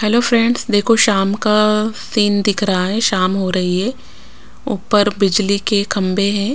Hello friends देखो शाम का सीन दिख रहा है शाम हो रही है ऊपर बिजली के खंबे हैं।